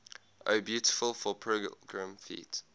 o beautiful for pilgrim feet